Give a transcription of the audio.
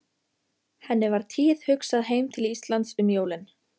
Henni var tíðhugsað heim til Íslands um jólin.